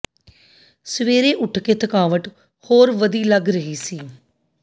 ਸਵੇਰੇ ਉਠ ਕੇ ਥਕਾਵਟ ਹੋਰ ਵਧੀ ਲੱਗ ਰਹੀ ਸੀ